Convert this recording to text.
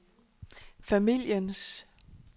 familiens